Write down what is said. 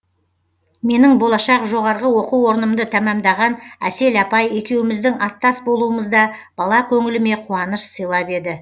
менің болашақ жоғарғы оқу орнымды тәмәмдаған әсел апай екеуміздің аттас болуымыз да бала көңіліме қуаныш сыйлап еді